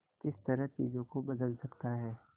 किस तरह चीजों को बदल सकता है